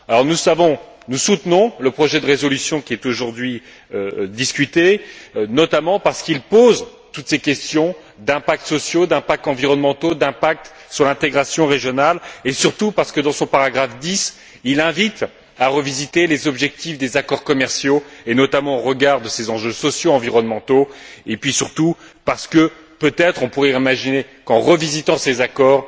Nous soutenons le projet de résolution qui est aujourd'hui discuté, notamment parce qu'il pose toutes ces questions d'impacts sociaux, d'impacts environnementaux, d'impacts sur l'intégration régionale, et surtout parce que, dans son paragraphe 10, il invite à revisiter les objectifs des accords commerciaux, notamment au regard de ces enjeux sociaux, environnementaux, et puis surtout parce qu'on pourrait peut être imaginer qu'en revisitant ces accords,